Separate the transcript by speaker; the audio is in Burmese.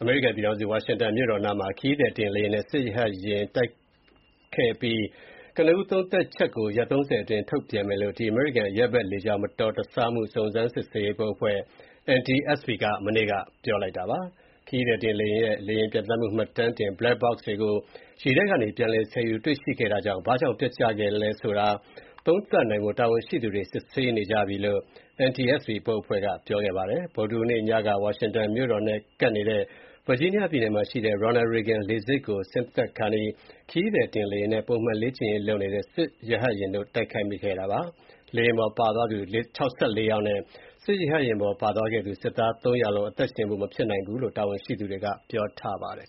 Speaker 1: အမေရိကန်ပြည်ထောင်စု ဝါရှင်တန်မြို့တော်နားမှာ ခရီးသည်တင်လေယာဉ်နဲ့ စစ်ရဟတ်ယာဉ် တိုက်မိမှုနဲ့ပတ်သက်တဲ့ ကနဦးသုံးသပ်ချက်ကို ရက် ၃၀ အတွင်း ထုတ်ပြန်မယ်လို့ အမေရိကန် အရပ်ဘက်လေကြောင်းမတော်တဆမှုတွေနဲ့ပတ်သက်တဲ့ စုံစမ်းစစ်ဆေးရေးဘုတ်အဖွဲ့ NTSB က ပြောကြားခဲ့ပါတယ်။ ခရီးသည်တင်လေယာဉ်ရဲ့ လေယာဉ်ပျံသန်းမှု မှတ်တမ်းတင် Black box တွေကို ရေထဲကနေ ပြန်လည်ဆယ်ယူ တွေ့ရှိခဲ့တာကြောင့် ဘာကြောင့် ပျက်ကျခဲ့သလဲဆိုတာ သုံးသပ်နိုင်ဖို့ တာဝန်ရှိသူတွေ စစ်ဆေးနေကြလို့ NTSB ဘုတ်အဖွဲ့က ပြောကြားခဲ့ပါတယ်။ ဗုဒ္ဓဟူးနေ့ ညက ဝါရှင်တန်မြို့တော်နဲ့ကပ်နေတဲ့ Virginia ပြည်နယ်မှာရှိတဲ့ Ronald Reagan လေဆိပ် ကို ဆင်းသက်ခါနီး ခရီးသည်တင်လေယာဉ်နဲ့ ပုံမှန်လေ့ကျင့်ရေးလုပ်နေတဲ့ စစ်ရဟတ်ယာဉ်တို့ တိုက်မိ ခဲ့တာပါ။ လေယာဉ်ပေါ်ပါသွားသူ ၆၄ ယောက်နဲ့ ရဟတ်ယာဉ်ပေါ်ပါသွားတဲ့ စစ်သား ၃ ယောက်လုံး အသက်ရှင်ဖို့ မဖြစ်နိုင်ဘူးလို့ တာဝန်ရှိသူတွ
Speaker 2: ေက ပြောကြားထားပါတယ်